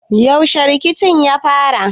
Yaushe rikicin ya fara?